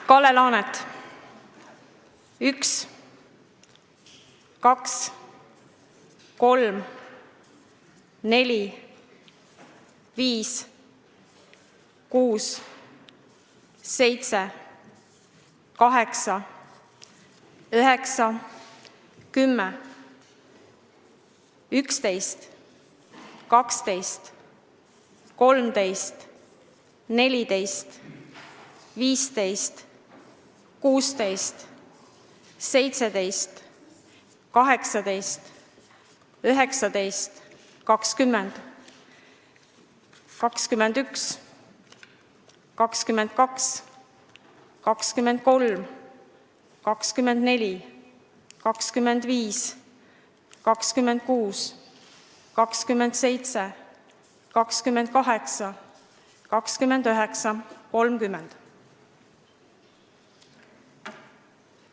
Kalle Laanet: 1, 2, 3, 4, 5, 6, 7, 8, 9, 10, 11, 12, 13, 14, 15, 16, 17, 18, 19, 20, 21, 22, 23, 24, 25, 26, 27, 28, 29, 30.